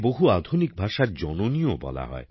বহু আধুনিক ভাষার জননীও বলা হয়